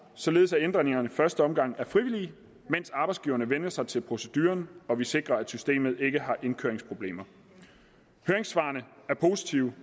således at ændringerne i første omgang er frivillige mens arbejdsgiverne vænner sig til proceduren og vi sikrer at systemet ikke har indkøringsproblemer høringssvarene er positive